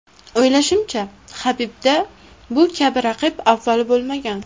O‘ylashimcha, Habibda bu kabi raqib avval bo‘lmagan.